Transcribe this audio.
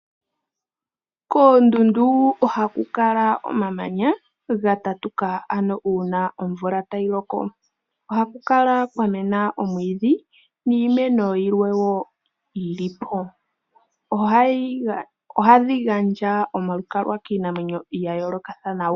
Koondundu ohaku kala omamanya gatatuka uuna omvula tayi loko. Ohaku kala kwamena omwiidji niimeno yilwe. Ohadhi gandja omalukalwa kiinamwenyo yayooloka.